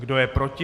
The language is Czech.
Kdo je proti?